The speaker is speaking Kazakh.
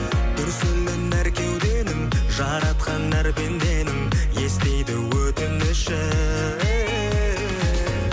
дүрсілін әр кеуденің жаратқан әр пенденің естиді өтінішін